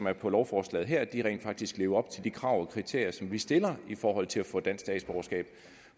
er på lovforslaget her rent faktisk lever op til de krav og kriterier som vi stiller i forhold til at få dansk statsborgerskab